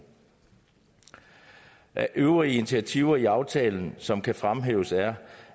af øvrige initiativer i aftalen som kan fremhæves er